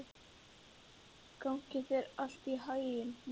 Gangi þér allt í haginn, Myrra.